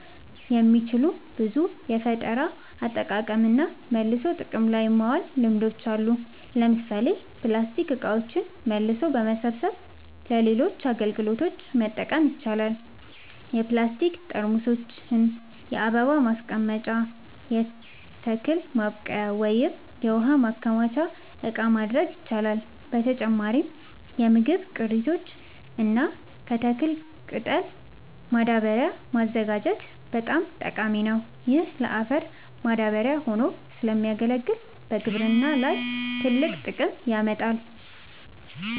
የሚችሉ ብዙ የፈጠራ አጠቃቀምና መልሶ ጥቅም ላይ ማዋል ልምዶች አሉ። ለምሳሌ ፕላስቲክ እቃዎችን መልሶ በመሰብሰብ ለሌሎች አገልግሎቶች መጠቀም ይቻላል። የፕላስቲክ ጠርሙሶችን የአበባ ማስቀመጫ፣ የተክል ማብቀያ ወይም የውሃ ማከማቻ እቃ ማድረግ ይቻላል። በተጨማሪም ከምግብ ቅሪቶች እና ከተክል ቅጠሎች ማዳበሪያ ማዘጋጀት በጣም ጠቃሚ ነው። ይህ ለአፈር ማዳበሪያ ሆኖ ስለሚያገለግል በግብርና ላይ ትልቅ ጥቅም ያመጣል።